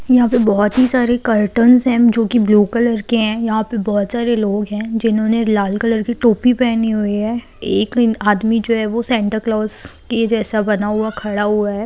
यहां पे बहुत ही सारे कर्टन है जो की ब्लू कलर के है यहां पे बहोत सारे लोग हैं जिन्होंने लाल कलर की टोपी पहनी हुई है एक आदमी जो हैवो सांता क्लॉस की तरह बना हुआ खड़ा हुआ है।